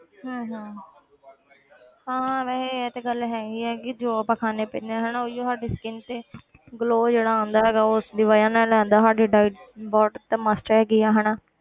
ਹਮ ਹਮ ਹਾਂ ਵੈਸੇ ਇਹ ਤੇ ਗੱਲ ਹੈਗੀ ਹੈ ਕਿ ਜੋ ਆਪਾਂ ਖਾਂਦੇ ਪੀਂਦੇ ਹਾਂ ਹਨਾ ਉਹੀਓ ਸਾਡੀ skin ਤੇ glow ਜਿਹੜਾ ਆਉਂਦਾ ਹੈਗਾ ਉਸਦੀ ਵਜ੍ਹਾ ਨਾਲ ਆਉਂਦਾ ਸਾਡੀ diet ਤੇ must ਹੈਗੀ ਆ ਹਨਾ